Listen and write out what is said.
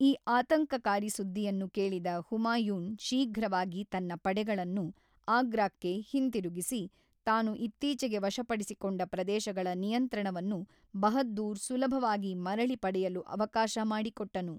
ಈ ಆತಂಕಕಾರಿ ಸುದ್ದಿಯನ್ನು ಕೇಳಿದ ಹುಮಾಯೂನ್ ಶೀಘ್ರವಾಗಿ ತನ್ನ ಪಡೆಗಳನ್ನು ಆಗ್ರಾಕ್ಕೆ ಹಿಂತಿರುಗಿಸಿ, ತಾನು ಇತ್ತೀಚೆಗೆ ವಶಪಡಿಸಿಕೊಂಡ ಪ್ರದೇಶಗಳ ನಿಯಂತ್ರಣವನ್ನು ಬಹದ್ದೂರ್ ಸುಲಭವಾಗಿ ಮರಳಿ ಪಡೆಯಲು ಅವಕಾಶ ಮಾಡಿಕೊಟ್ಟನು.